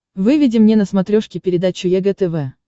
выведи мне на смотрешке передачу егэ тв